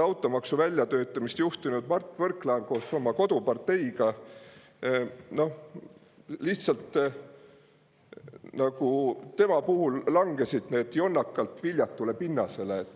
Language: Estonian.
automaksu väljatöötamist juhtinud Mart Võrklaev koos oma koduparteiga – noh, tema puhul need lihtsalt langesid nagu jonnakalt viljatule pinnasele.